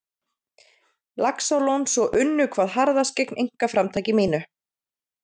Laxalóns og unnu hvað harðast gegn einkaframtaki mínu.